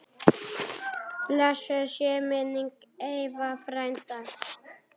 Blessuð sé minning Eyva frænda.